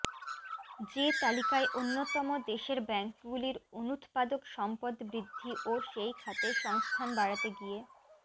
যে তালিকায় অন্যতম দেশের ব্যাঙ্কগুলির অনুৎপাদক সম্পদ বৃদ্ধি ও সেই খাতে সংস্থান বাড়াতে গিয়ে